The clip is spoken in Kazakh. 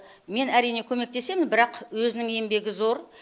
мен әрине көмектесемін бірақ өзінің еңбегі зор